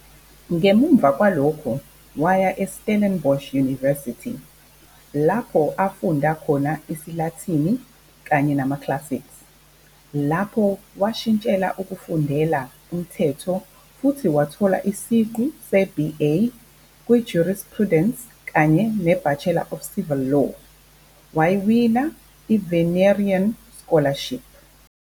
Ngemuva kwalokho waya eStellenbosch University, lapho afunda khona isiLatini kanye nama-classics. Lapho, washintshela ukufundela umthetho futhi wathola isiqu se-i-BA kwi-Jurisprudence kanye neBachelor of Civil Law, wawina iVinerian Scholarship.